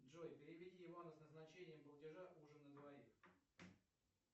джой переведи ивану с назначением платежа ужин на двоих